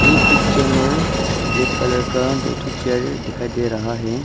इ पिक्चर में एक कलर का दो ठो चेयर दिखाई दे रहा है।